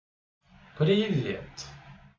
привет